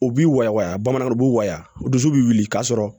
U b'i waga bamananw u b'u waya dusu bɛ wili k'a sɔrɔ